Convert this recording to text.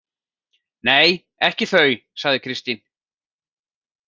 Nei, ekki þau, sagði Kristín.